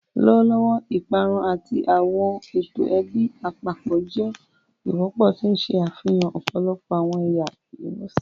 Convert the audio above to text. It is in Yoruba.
Lọwọlọwọ, iparun ati awọn eto ẹbi apapọ jẹ wọpọ, ti n ṣe afihan ọpọlọpọ awọn ẹya imusin.